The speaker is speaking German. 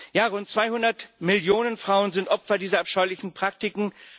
Ja, rund 200 Millionen Frauen sind Opfer dieser abscheulichen Praktiken.